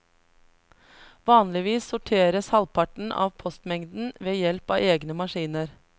Vanligvis sorteres halvparten av postmengden ved hjelp av egne maskiner.